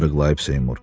Arıqlayıb Seymur.